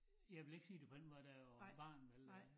Jeg vil ikke sige det på den måde da jeg var barn vel øh